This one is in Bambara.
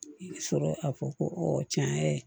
I bɛ sɔrɔ ka fɔ ko tiɲɛ yɛrɛ